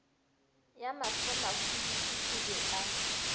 ya mahlomahwibidu o be a